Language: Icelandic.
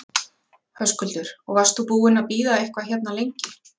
Höskuldur: Og varst þú búinn að bíða eitthvað hérna lengi?